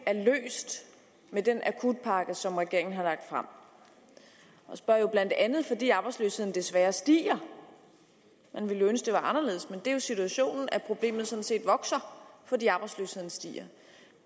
er løst med den akutpakke som regeringen har lagt frem jeg spørger blandt andet fordi arbejdsløsheden desværre stiger jeg ville jo ønske det var anderledes men det er jo situationen at problemet sådan set vokser fordi arbejdsløsheden stiger